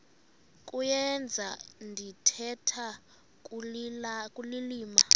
kuyenza ndithetha ukulilima